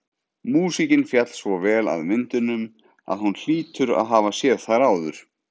Músíkin féll svo vel að myndunum að hún hlýtur að hafa séð þær áður.